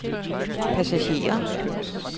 passagerer